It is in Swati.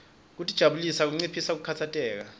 kutijabulisa kunciphisa kukhatsateka